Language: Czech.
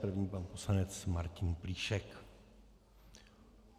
První pan poslanec Martin Plíšek.